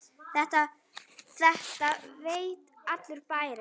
Þetta veit allur bærinn!